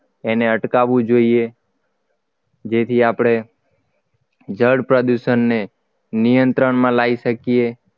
એને અટકાવવું જોઈએ જેથી આપણે જળ પ્રદૂષણને નિયંત્રણમાં લાવી શકી